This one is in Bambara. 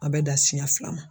A bɛ dan siɲɛ fila ma.